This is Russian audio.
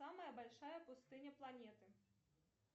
самая большая пустыня планеты